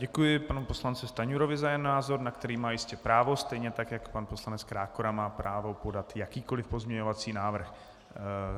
Děkuji panu poslanci Stanjurovi za jeho názor, na který má jistě právo, stejně tak jako pan poslanec Krákora má právo podat jakýkoliv pozměňovací návrh.